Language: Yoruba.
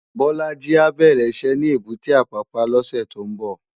Bolaji á bèrè iṣè ni ébùté Apapa lòsè tó n bò